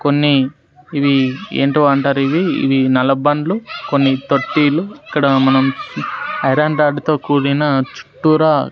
కొన్ని ఇవి ఏంటివో అంటారు ఇవి నల్లబండ్లు కొన్ని తొట్టిలు ఇక్కడ మనం ఐరన్ రాడ్డుతో కూడిన చుట్టూరా--